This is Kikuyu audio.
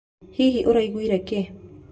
Hihi ũraigwire kĩĩ?